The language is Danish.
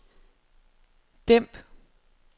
dæmp